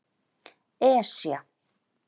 Esja